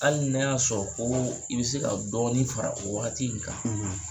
Hali n'a y'a sɔrɔ koo i be se ka dɔɔnin fara o wagati in kan